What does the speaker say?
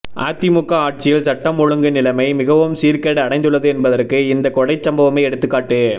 அதிமுக ஆட்சியில் சட்டம் ஒழுங்கு நிலைமை மிகவும் சீர்கேடு அடைந்துள்ளது என்பதற்கு இந்த கொலைச்சம்பவமே எடுத்துக்காட்டு